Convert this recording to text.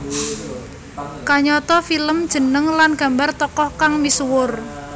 Kayata film jeneng lan gambar tokoh kang misuwur